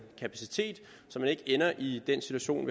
kapacitet så man ikke ender i den situation